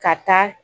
Ka taa